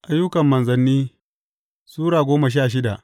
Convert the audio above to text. Ayyukan Manzanni Sura goma sha shida